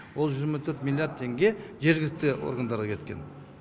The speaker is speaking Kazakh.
ол жүз жиырма төрт миллиард теңге жергілікті органдарға кеткен